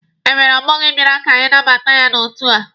Enwere ọgbọ gị bịara ka anabata ya n'otu a?